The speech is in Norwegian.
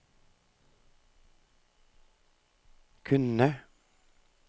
kunne